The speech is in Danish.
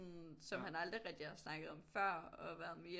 Som han aldrig rigtig har snakket om før og været mere